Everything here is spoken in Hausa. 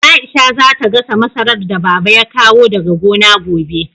Aisha za ta gasa masarar da Baba ya kawo daga gona gobe.